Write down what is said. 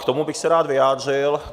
K tomu bych se rád vyjádřil.